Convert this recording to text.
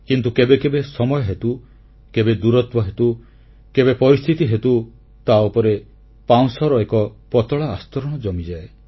କିନ୍ତୁ କେବେ କେବେ ସମୟ ହେତୁ କେବେ ଦୂରତ୍ୱ ହେତୁ କେବେ ପରିସ୍ଥିତି ହେତୁ ତାଉପରେ ପାଉଁଶର ପତଳା ଆସ୍ତରଣ ଜମିଯାଏ